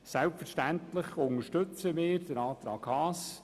Selbstverständlich unterstützen wir den Antrag Haas.